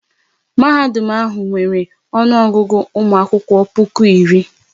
Mahadum ahụ nwere ọnụ Ọgụgụ ụmụ akwụkwọ puku iri